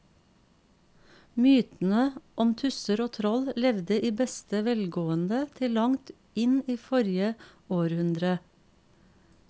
Mytene om tusser og troll levde i beste velgående til langt inn i forrige århundre.